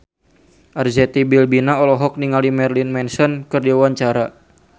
Arzetti Bilbina olohok ningali Marilyn Manson keur diwawancara